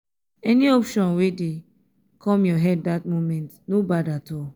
any option wey dey kom yur head dat moment no bad at all